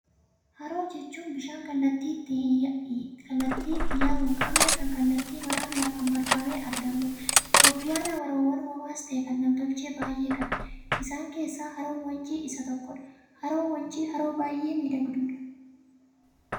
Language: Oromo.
Haroo jechuun bishaan kallattii itti yaa'u hin qabne, kan kallattii maraan lafaan marfamee argamuudha. Itiyoophiyaan haroowwan uumamaas ta'ee; kan nam-tolchee baay'ee qabdi. Isaan keessaa Haroon wancii isa tokkodha. Haroon wancii haroo baay'ee miidhagduudha.